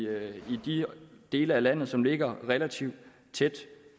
de dele af landet som ligger relativt tæt